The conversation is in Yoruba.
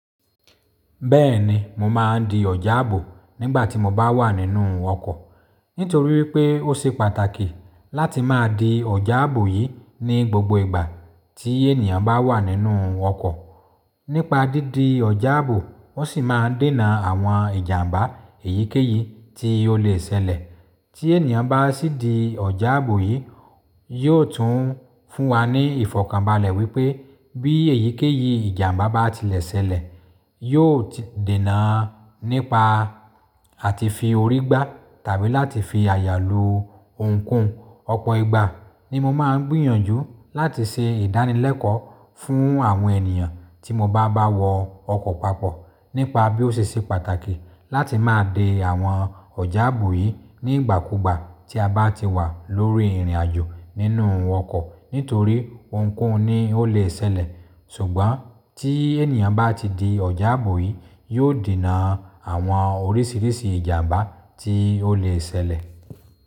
Bẹ́ẹ̀ni, mo máa ń di ọ̀já ààbò nígbà tí mo bá wà nínú ọkọ̀. Nítorí wípé ó ṣe pàtàkì láti máa di ọ̀já ààbò yìí ní gbogbo ìgbà tí ènìyàn bá wà nínú ọkọ̀. Nípa dídi ọ̀já ààbò, ó sì máa dènà àwọn ìjàmbá èyíkéyìí tí ó lè ṣẹlẹ̀. Tí ènìyàn bá sì di ọ̀já ààbò yìí, yóò tún fún wa ní ìfọ̀kànbalẹ̀ wípé bí èyíkéyìí ìjàmbá bá ti ṣẹlẹ̀, yóò dènà nípa àti fi orí gbá tàbí láti fi àyà lo ohun koun. Ọ̀pọ̀ ìgbà ni mo máa ń gbìyànjú láti ṣe ìdánilẹ́kọ̀ọ́ fún àwọn ènìyàn tí mo bá bá wọ ọkọ̀ papọ̀ nípa bí ó ṣe ṣe pàtàkì láti máa de àwọn ọ̀já ààbò yìí nígbàkúugbà tí a bá ti wà lórí ìrìnàjò nínú ọkọ̀. Nítorí ohun koun ni ó lè ṣẹlẹ̀. Ṣùgbọ́n tí ènìyàn bá ti di ọ̀já ààbò yìí, yóò dènà àwọn oríṣìíríṣìí ìjàmbá tí ó lè ṣẹlẹ̀.